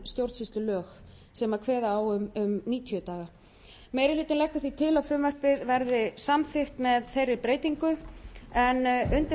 stjórnsýslulög sem kveða á um níutíu daga meiri hlutinn leggur því til að frumvarpið verði samþykkt með þeirri breytingu en undir þetta